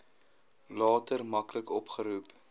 later maklik opgeroep